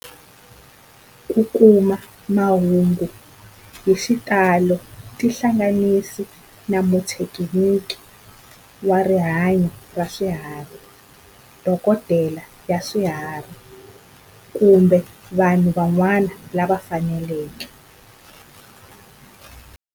Ku kuma mahungu hi xitalo tihlanganisi na muthekiniki wa rihanyo ra swifuwo, dokodela ya swifuwo, kumbe vanhu van'wana lava fanelekeke.